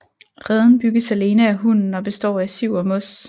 Reden bygges alene af hunnen og består af siv og mos